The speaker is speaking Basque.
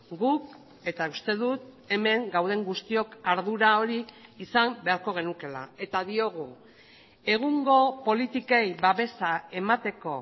guk eta uste dut hemen gauden guztiok ardura hori izan beharko genukeela eta diogu egungo politikei babesa emateko